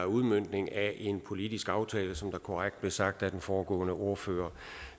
udmøntning af en politisk aftale som det korrekt blev sagt af den foregående ordfører